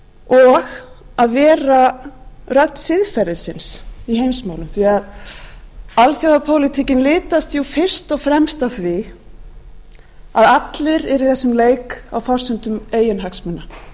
og að vera rödd siðferðisins í heimsmálum því alþjóðapólitíkin litast jú fyrst og fremst af því að allir eru í jöfnum leik á forsendum eiginhagsmuna